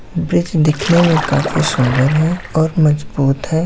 Bridge दिखने में काफी सुंदर है और मजबूत है।